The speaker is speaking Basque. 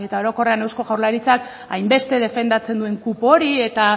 orokorrean eusko jaurlaritzak hainbeste defendatzen duen kupo hori eta